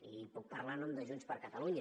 i puc parlar en nom de junts per catalunya